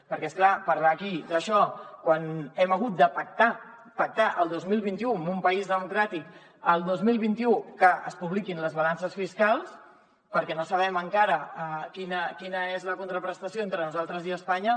perquè és clar parlar aquí d’això quan hem hagut de pactar el dos mil vint u en un país democràtic que es publiquin les balances fiscals perquè no sabem encara quina és la contraprestació entre nosaltres i a espanya